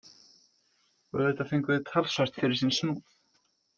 Og auðvitað fengu þeir talsvert fyrir sinn snúð.